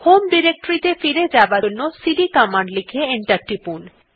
home directory ত়ে ফিরে যাবার জন্য সিডি কমান্ড লিখে এন্টার টিপুন